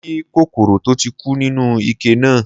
Mo rí kòkòrò tó ti kú nínú ike náà.